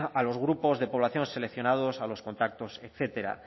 a los grupos de población seleccionados a los contactos etcétera